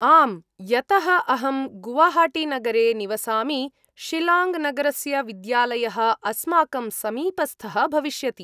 आम्, यतः अहं गुवाहाटीनगरे निवसामि, शिलाङ्ग् नगरस्य विद्यालयः अस्माकं समीपस्थः भविष्यति।